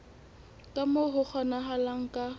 ka moo ho kgonahalang ka